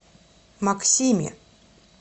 максиме